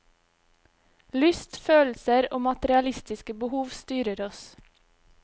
Lyst, følelser og materialistiske behov styrer oss.